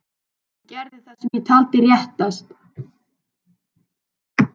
Ég gerði það sem ég taldi réttast.